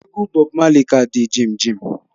Egwu Bob Marley ka di jimjim